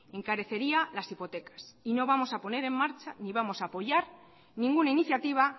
encarecería las hipotecas y no vamos a poner en marcha ni vamos a apoyar ninguna iniciativa